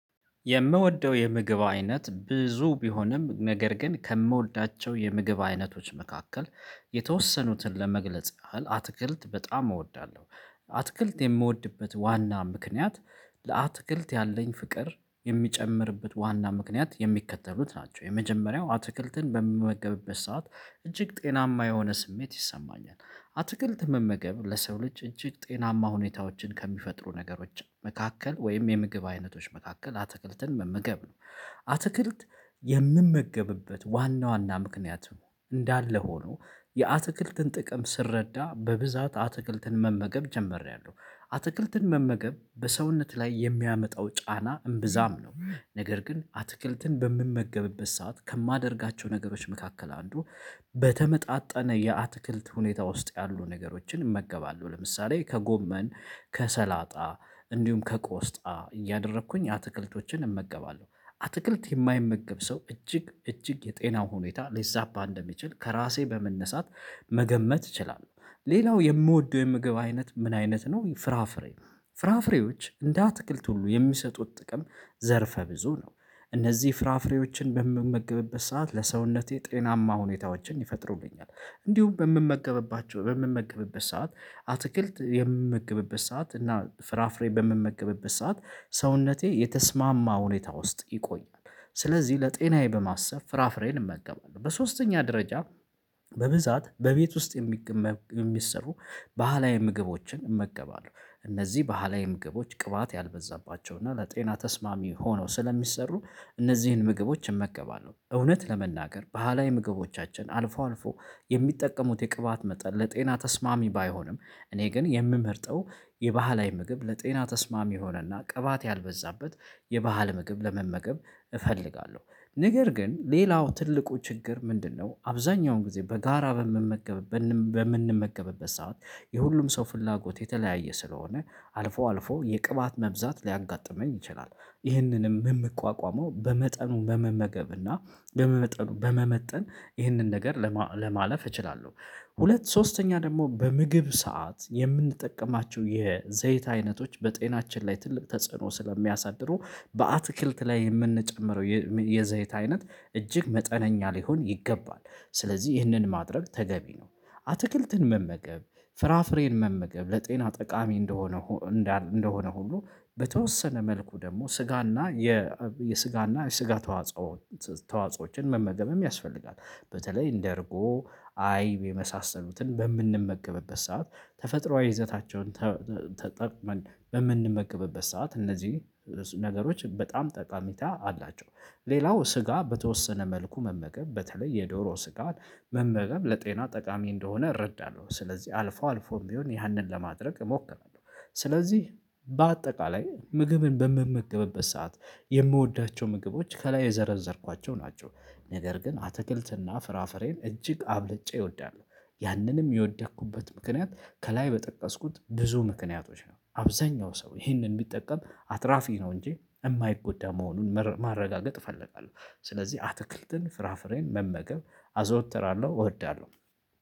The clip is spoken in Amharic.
የምወደው የምግብ አይነት ብዙ ቢሆንም ነገር ግን ከምወዳቸው የምግብ አይነቶች መካከል የተወሰኑትን ለመግለጽ ያህል አትክልት በጣም እወዳለሁ አትክልት የምወድበት ዋና ምክንያት ለአትክልት ያለኝ ፍቅር የሚጨምርበት ዋና ምክንያት የሚከተሉት ናቸው የመጀመሪያው አትክልትን በምመገብበት ሰዓት እጅግ ጤናማ የሆነ ስሜት ይሰማኛል አትክልት መመገብ ለሰው ልጅ እጅግ ጤናማ ሁኔታዎችን ከሚፈጥሩ ነገሮች መካከል ወይም የምግብ አይነቶች መካከል አትክልትን መመገብ ነው አትክልት የምመገብበት ዋና ዋና ምክንያት እንዳለ ሆኖ የአትክልትን ጥቅም ስረዳ በብዛት አትክልትን መመገብ ጀምሪያለሁ አትክልትን መመገብ በሰውነት ላይ የሚያመጣው ጫና እምብዛም ነው ነገር ግን አትክልትን በምመገብበት ሰዓት ከማደርጋቸው ነገሮች መካከል አንዱ በተመጣጣነ የአትክልት ሁኔታ ውስጥ ያሉ ነገሮችን እመገባለሁ ለምሳሌ ከጎመን ከሰላጣ እንዲሁም ከቆስጣ እያደረኩኝ አትክልቶችን እመገባለሁ አትክልት የማይመገብ ሰው እጅግ እጅግ የጤናው ሁኔታ ሊዛባ እንደሚችል ከራሴ በመነሳት መገመት እችላለሁ ሌላው የምወደው የምግብ አይነት ምን አይነት ነው ፍራፍሬ ፍራፍሬዎች እንደ አትክልት ሁሉ የሚሰጡት ጥቅም ዘርፈ ብዙ ነው እነዚህ ፍራፍሬዎችን በምመገብበት ሰዓት ለሰውነቴ ጤናማ ሁኔታዎችን ይፈጥሩብኛል እንዲሁም በምመገብባቸው በምመገብበት ሰዓት አትክልት የምመገብበት ሰዓት እና ፍራፍሬ በምመገብበት ሰዓት ሰውነቴ የተስማማ ሁኔታ ውስጥ ይቆያል ስለዚህ ለጤናዬ በማሰብ ፍራፍሬን እመገባለሁ በሶስተኛ ደረጃ በብዛት በቤት ውስጥ የሚገ መ የሚሰሩ ባህላዊ ምግቦችን እመገባለሁ። እነዚህ ባህላዊ ምግቦች ቅባት ያልበዛባቸው እና ለጤና ተስማሚ ሆነው ስለሚሰሩ እነዚህን ምግቦች እመገባለሁ። እውነት ለመናገር ባህላዊ ምግቦቻችን አልፎ አልፎ የሚጠቀሙት የቅባት መጠን ለጤና ተስማሚ ባይሆንም እኔ ግን የምመርጠው የባህላዊ ምግብ ለጤና ተስማሚ የሆነና ቀባት ያልበዛበት የባህል ምግብ ለመመገብ እፈልጋለሁ። ነገር ግን ሌላው ትልቁ ችግር ምንድነው አብዛኛውን ጊዜ በጋራ በምመገብ በምንመገብበት ሰዓት የሁሉም ሰው ፍላጎት የተለያየ ስለሆነ አልፎ አልፎ የቅባት መብዛት ሊያጋጥመኝ ይችላል። ይህንንም የምቋቋመው በመጠኑ በመመገብ እና በመመጠኑ በመመጠን ይህንን ነገር ለማለፍ እችላለሁ። ሁለት ሶስተኛ ደግሞ በምግብ ሰዓት የምንጠቀማቸው የዘይት አይነቶች በጤናችን ላይ ትልቅ ተጽዕኖ ስለሚያሳድሩ በአትክልት ላይ የምንጨምረው የዘይት አይነት እጅግ መጠነኛ ሊሆን ይገባል። ስለዚህ ይህንን ማድረግ ተገቢ ነው። አትክልትን መመገብ ፍራፍሬን መመገብ ለጤና ጠቃሚ እንደሆነ እንደሆነ ሁሉ በተወሰነ መልኩ ደግሞ ስጋና የ የስጋና የስጋ ተዋጾ ተዋጾዎችን መመገብም ያስፈልጋል። በተለይ እንደ እርጎ አይብ የመሳሰሉትን በምንመገብበት ሰዓት ተፈጥሮአዊ ይዘታቸውን ተተ ተጠቅመን በምንመገብበት ሰዓት እነዚህ ነገሮች በጣም ጠቀሜታ አላቸው። ሌላው ስጋ በተወሰነ መልኩ መመገብ በተለይ የዶሮ ስጋን መመገብ ለጤና ጠቃሚ እንደሆነ እረዳለሁ። ስለዚህ አልፎ አልፎም ቢሆን ያንን ለማድረግ እሞክራለሁ። ስለዚህ በአጠቃላይ ምግብን በምመገብበት ሰዓት የምወዳቸው ምግቦች ከላይ የዘረዘርኳቸው ናቸው። ነገር ግን አትክልትና ፍራፍሬን እጅግ አብልጬ እወዳለሁ። ያንንም የወደኩበት ምክንያት ከላይ በጠቀስኩት ብዙ ምክንያቶች ነው። አብዛኛው ሰው ይሄንን ቢጠቀም አትራፊ ነው እንጂ የማይጎዳ መሆኑን ማረጋገጥ እፈልጋለሁ። ስለዚህ አትክልትን ፍራፍሬን መመገብ አዘወትራለሁ እወዳለሁ።